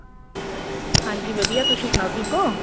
ਹਾਂਜੀ ਵਧੀਆ ਤੁਸੀਂ ਸੁਣਾਉ ਠੀਕ ਓ